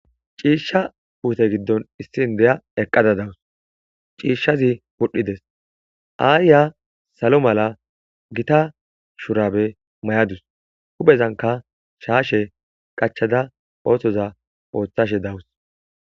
ciishsha puute giddon issina ne7iya eqqada dawus ciishshazi pudhdhides aayya salo mala gita shurabe may7adus hupezanka shaashe qachada oothoza ooththashe dawus